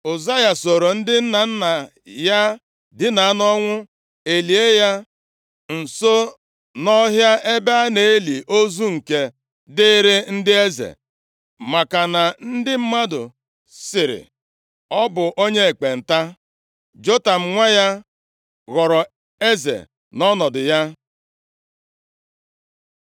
Ụzaya soro ndị nna nna ya dina nʼọnwụ, e lie ya nso nʼọhịa ebe a na-eli ozu nke dịịrị ndị eze, maka na ndị mmadụ sịrị, “Ọ bụ onye ekpenta.” Jotam nwa ya, ghọrọ eze nʼọnọdụ ya.